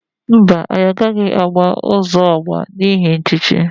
Mba, anyi agaghi agba uzo ogba n'ihi nchichi.